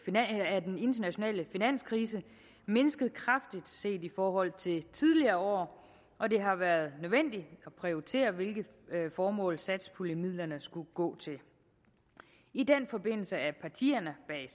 af den internationale finanskrise mindsket kraftigt set i forhold til tidligere år og det har været nødvendigt at prioritere hvilke formål satspuljemidlerne skulle gå til i den forbindelse er partierne bag